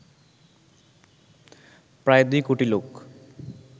প্রায় দুই কোটি লোক